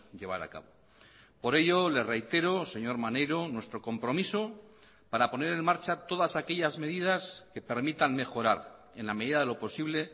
llevar a cabo por ello le reitero señor maneiro nuestro compromiso para poner en marcha todas aquellas medidas que permitan mejorar en la medida de lo posible